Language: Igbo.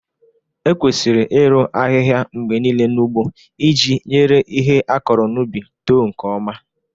Ekwesịrị iru ahihia mgbe niile n'ugbo iji nyere ihe akọrọ n'ubi too nke ọma